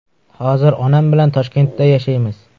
Hozir onam bilan Toshkentda yashaymiz.